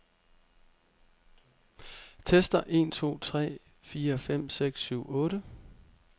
Tester en to tre fire fem seks syv otte.